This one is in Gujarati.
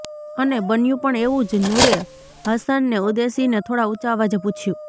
અને બન્યું પણ એવું જ નૂરે હસન ને ઉદ્દેશીને થોડાં ઉંચા અવાજે પૂછ્યું